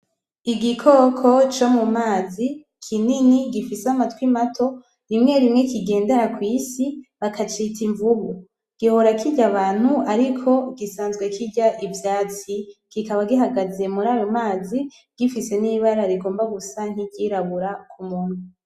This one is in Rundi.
Igikoko co mumazi kinini gifise amatwi mato rimwe rimwe kigendera kw'isi bakacita invubu. Gihora kirya abantu ariko gisanzwe kirya ivyatsi kikaba gihagaze murayo mazi gifise n'ibara rigomba gusa nk'iryirabura kumunwa.